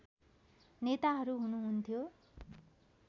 नेताहरू हुनुहुन्थ्यो